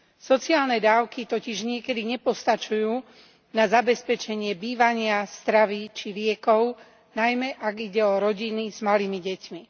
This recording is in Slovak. Sociálne dávky totiž niekedy nepostačujú na zabezpečenie bývania, stravy, či liekov, najmä ak ide o rodiny s malými deťmi.